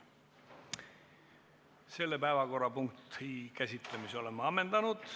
Selle päevakorrapunkti käsitlemise oleme ammendanud.